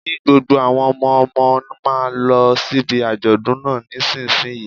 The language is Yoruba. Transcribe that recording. Kí gbogbo àwọn ọmọ ọmọ máa lọ síbi àjọ̀dún náà nísinsìnyí